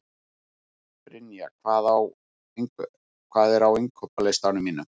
Brynja, hvað er á innkaupalistanum mínum?